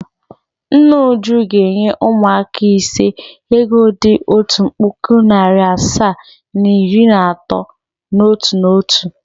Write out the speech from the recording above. Nna Uju ga-enye ụmụaka ise ego dị otu puku, narị asaa na iri na atọ n’otu n’otu.